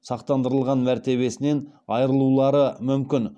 сақтандырылған мәртебесінен айырылулары мүмкін